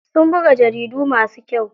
Sun buga jaridu masu kyau.